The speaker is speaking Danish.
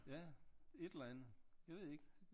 Ja et eller andet jeg ved ik